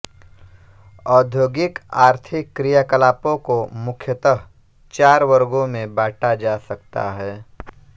औद्योगिक आर्थिक क्रियाकलापों को मुख्यतः चार वर्गों में बांटा जा सकता है